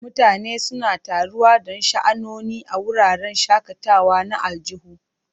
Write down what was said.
Mutane suna taruwa don sha'anoni a wuraren shakatawa na aljihu.